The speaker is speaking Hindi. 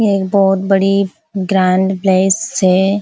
ये एक बहोत बड़ी ग्रैंड प्लेस है।